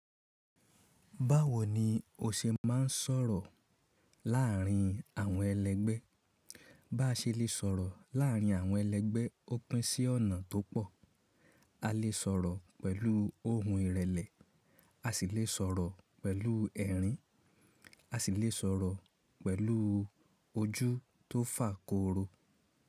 Báwo ni o ṣe máa ń sọ̀rọ̀ láàárín àwọn ẹlẹgbẹ́? Bá ṣe lè sọ̀rọ̀ láàárín àwọn ẹlẹgbẹ́ ó pín sí ọ̀nà tó pọ̀. A lè sọ̀rọ̀ pẹ̀lú ohùn ìrẹ̀lẹ̀, a sì lè sọ̀rọ̀ pẹ̀lú ẹ̀rín, a sì lè sọ̀rọ̀ pẹ̀lú ojú tó fà koro.